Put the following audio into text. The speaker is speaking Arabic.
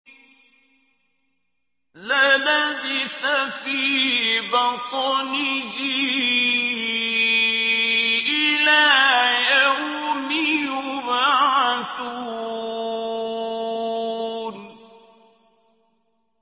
لَلَبِثَ فِي بَطْنِهِ إِلَىٰ يَوْمِ يُبْعَثُونَ